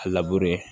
A labure